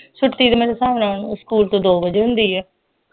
ਛੁੱਟੀ ਤੇ ਮੇਰੇ ਸਾਹਵ ਨਾਲ ਸਕੂਲ ਤੇ ਦੋ ਵਜੇ ਹੁੰਦੀ ਹੈ